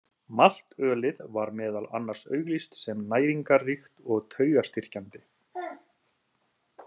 Maltölið var meðal annars auglýst sem næringarríkt og taugastyrkjandi.